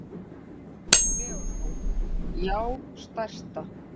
Haukur Leósson: Já stærsta.